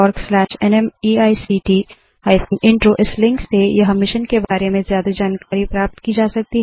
spoken tutorialorgnmeict intro इस link से यह मिशन के बारें में ज्यादा जानकारी प्राप्त की जा सकती है